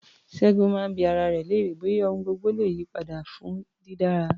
Ṣẹ́gun máa ń bi ara rẹ̀ léèrè bóyá ohun gbogbo le yí padà fún dídára.